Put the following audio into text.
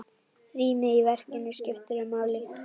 Rýmið í verkinu skiptir máli.